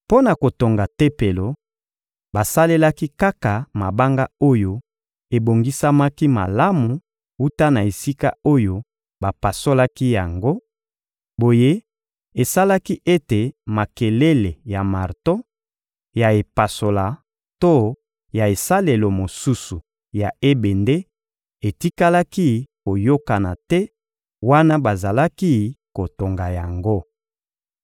Mpo na kotonga Tempelo, basalelaki kaka mabanga oyo ebongisamaki malamu wuta na esika oyo bapasolaki yango; boye, esalaki ete makelele ya marto, ya epasola to ya esalelo mosusu ya ebende etikalaki koyokana te wana bazalaki kotonga yango.